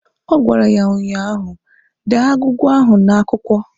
Ọ gwara ya ụnyaahụ "Dee agwụgwa ahụ n'akwụkwọ"!